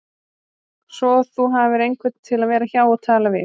Svo þú hafir einhvern til að vera hjá og tala við